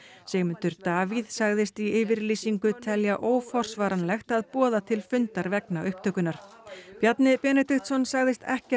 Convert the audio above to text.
Sigmundur Davíð sagðist í yfirlýsingu telja óforsvaranlegt að boða til fundar vegna upptökunnar Bjarni Benediktsson sagðist ekkert